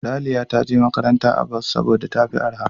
Raliya ta je makaranta a bas saboda tafi arha.